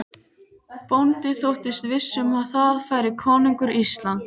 Bóndi þóttist viss um að þar færi konungur Íslands.